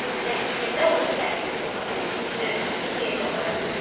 Tərkibində L hərfi olan sözləri hecalara bölək.